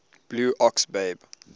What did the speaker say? blue ox babe